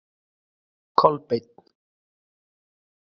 Kolbeinn